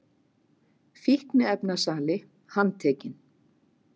Fíkniefnasali handtekinn